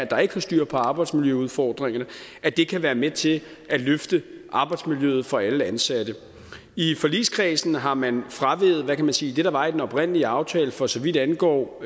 der ikke har styr på arbejdsmiljøudfordringerne og at det kan være med til at løfte arbejdsmiljøet for alle ansatte i forligskredsen har man fraveget hvad kan man sige det der var i den oprindelige aftale for så vidt angår